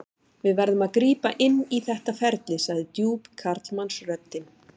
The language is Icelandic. Við verðum að grípa inn í þetta ferli, sagði djúp karlmannsröddin.